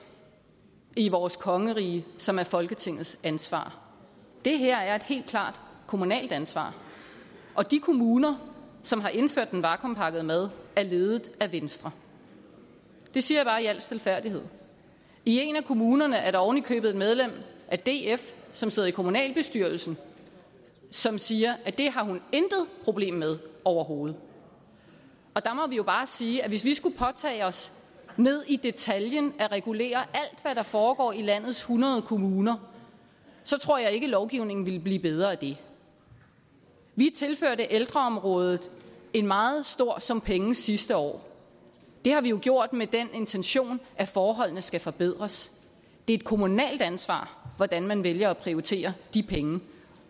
i vores kongerige som er folketingets ansvar det her er et helt klart kommunalt ansvar og de kommuner som har indført den vakuumpakkede mad er ledet af venstre det siger jeg bare i al stilfærdighed i en af kommunerne er der oven i købet et medlem af df som sidder i kommunalbestyrelsen og som siger at det har hun intet problem med overhovedet der må vi jo bare sige at hvis vi skulle påtage os ned i detaljen at regulere alt hvad der foregår i landets hundrede kommuner så tror jeg ikke at lovgivningen ville blive bedre af det vi tilførte ældreområdet en meget stor sum penge sidste år det har vi jo gjort med den intention at forholdene skal forbedres det er et kommunalt ansvar hvordan man vælger at prioritere de penge